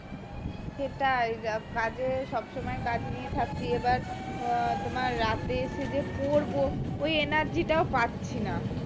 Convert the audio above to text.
সেটাই যা কাজে সব সময় কাজ নিয়ে থাকি এবার উম তোমার রাতে এসে পড়বো ওই energy টাও পাচ্ছি না